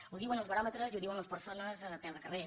ho diuen els baròmetres i ho diuen les persones a peu de carrer